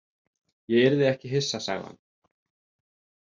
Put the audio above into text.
Ég yrði ekki hissa, sagði hann.